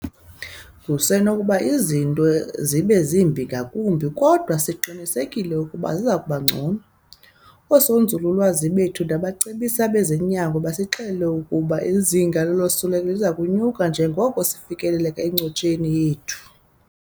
Kusenokuba izinto zibe zimbi ngakumbi, kodwa siqinisekile ukuba ziza kuba ngcono. Oosonzululwazi bethu nabacebisi bezonyango basixelele ukuba izinga losuleleko liza kunyuka njengoko sifikelela encotsheni yethu.